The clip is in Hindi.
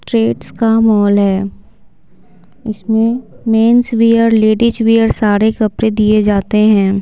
ट्रेट्स का मॉल है इसमें मेनस वेयर लेडीज वेयर सारे कपड़े दिए जाते हैं।